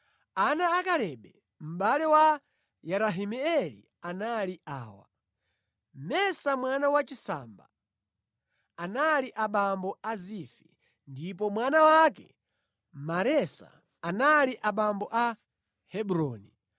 Ana a Kalebe mʼbale wa Yerahimeeli anali awa: Mesa mwana wachisamba, anali abambo a Zifi, ndipo mwana wake Maresa anali abambo a Hebroni.